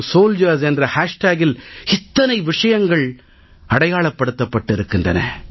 Sandesh2soldiers என்ற hashtagஇல் இத்தனை விஷயங்கள் அடையாளப்படுத்தப்பட்டிருக்கின்றன